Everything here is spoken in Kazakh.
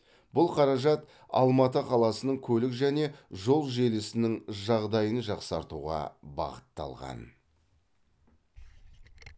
бұл қаражат алматы қаласының көлік және жол желісінің жағдайын жақсартуға бағытталған